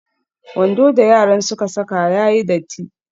Wando da yaran suka saka ya yi datti.